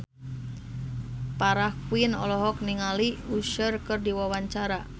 Farah Quinn olohok ningali Usher keur diwawancara